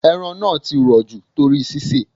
Ẹran náà ti rò jù torí sisè.